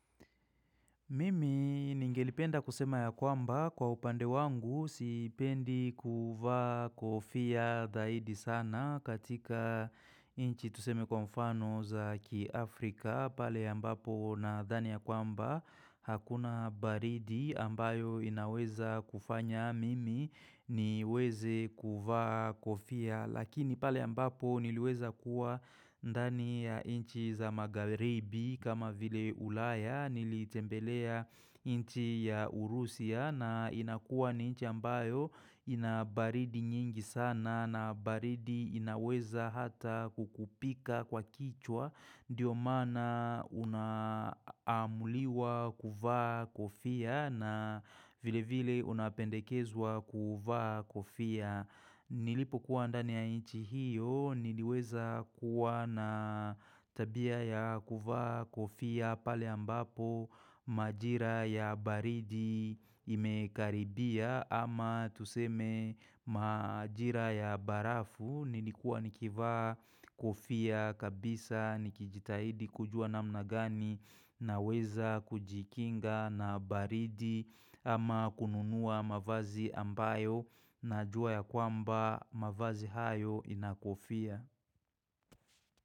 Mimi ningelipenda kusema ya kwamba kwa upande wangu sipendi kuvaa kofia zaidi sana katika inchi tuseme kwa mfano za kiafrika pale ambapo na thani ya kwamba hakuna baridi ambayo inaweza kufanya mimi niweze kuvaa kofia. Lakini pale ambapo niliweza kuwa ndani ya inchi za magharibi kama vile ulaya nilitembelea inchi ya Urusia na inakuwa ni inchi ambayo inabaridi nyingi sana na baridi inaweza hata kukupiga kwa kichwa. Ndiyo maana unaamuliwa kuvaa kofia na vile vile unapendekezwa kuvaa kofia Nilipo kuwa ndani ya inchi hiyo, niliweza kuwa na tabia ya kuvaa kofia pale ambapo inchi ya Urusi na inakuwa ni inchi ambayo inabaridi nyingi sana na baridi inaweza hata kukupiga kwa kichwa. Naweza kujikinga na baridi ama kununua mavazi ambayo najua ya kwamba mavazi hayo ina kofia.